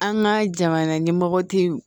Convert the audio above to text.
An ka jamana ɲɛmɔgɔ tɛ yen